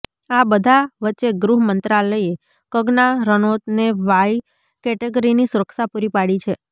આ બધા વચ્ચે ગૃહ મંત્રાલયે કગના રનોતને વાય કેટેગરીની સુરક્ષા પૂરી પાડી છે